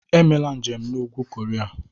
Emela njem na Ugwu Koria!